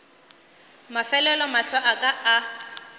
mafelelo mahlo a ka a